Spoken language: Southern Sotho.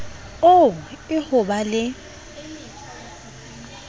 oo e ho ba le